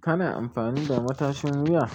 Kana amfani da matashin wuya?